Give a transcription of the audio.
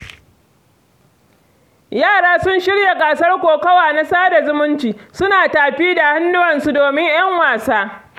Yara sun shirya gasar kokowa na sada zumunci, suna tafi da hannuwa domin ‘yan wasan.